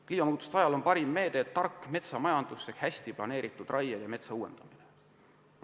Kliimamuutuste ajal on parim meede tark metsamajandus ehk hästi planeeritud raie ja metsa uuendamine.